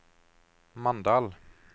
Mandal